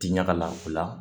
Ti ɲaga la o la